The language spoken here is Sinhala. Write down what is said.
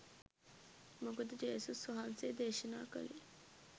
මොකද ජේසුස් වහන්සේ දේශනා කලේ